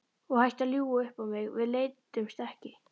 Og hættu að ljúga upp á mig, við leiddumst ekki!